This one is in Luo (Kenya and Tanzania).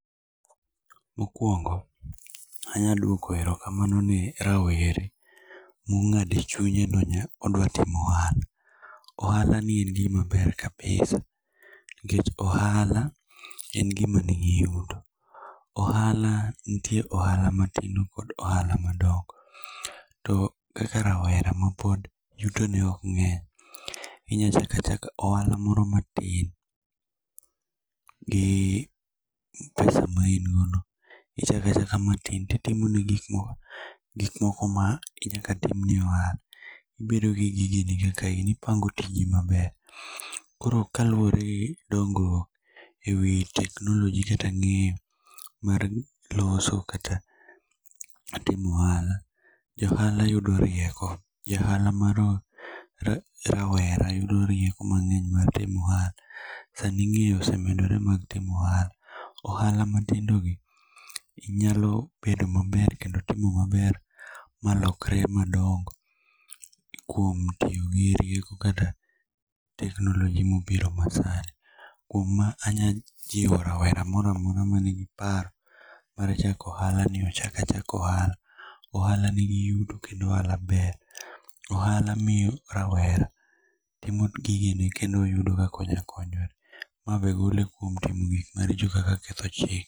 Mokwongo, anya duok erokamano ne rawere mong'ado e chunye ni odwa timo ohala. Ohala en gima ber kabisa. Nikech ohala en gima ni gi yuto. Ohala nitie ohala matindo kod ohala madongo. To kaka rawera ma pod yuto ne ok ng'eny, inya chako achaka ohala moro matin gi pesa ma ingodo. Ichako achaka ti timo gik moko ma nyaka timne ohala. Ibedo gi gige ni kaka in. Ipango tiji maber. Koro kaluore gi dongruok e wi technology kata ng'eyo mar loso kata timo ohala johala yudo rieko. Ja ohala mar rawera yudo rieko mang'eny mar timo ohala. Sani ng'eyo osemedore mag timo ohala. Ohala matindo gi nyalo bedo maber kendo timo maber malokre madongo. Kuom tiyo gi rieko kata technology mobiro ma sani. Kuom ma anya jiwo rawera moro amora manigi paro mar chako ohala ni ochak achaka ohala. Ohala nigi yuto kendo ohala ber. Ohala miyo rawera timo gige ne kendo oyudo kaka onya konyore. Mabe gole kuom timo gik maricho kaka ketho chik.